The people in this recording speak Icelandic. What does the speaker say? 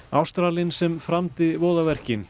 Ástralinn sem framdi voðaverkin